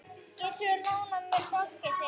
Geturðu lánað mér dálkinn þinn?